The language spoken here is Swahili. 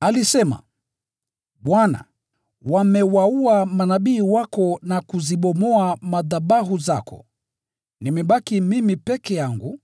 Alisema, “Bwana, wamewaua manabii wako na kuzibomoa madhabahu zako, nimebaki mimi peke yangu,